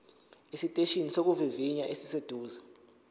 esiteshini sokuvivinya esiseduze